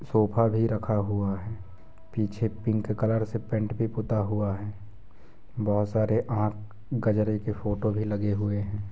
Sofa भी रखा हुवा है निचे पिंक कलर पेंट भी पुता हुवा है बहुत सारे आंख गजरे के फोटो भी लगे हुए है।